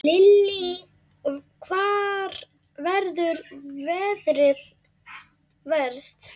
Lillý: Hvar verður veðrið verst?